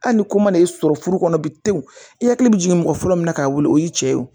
Hali ni ko mana i sɔrɔ furu kɔnɔ bi wo i hakili bɛ jigin mɔgɔ fɔlɔ min na k'a wili o y'i cɛ ye wo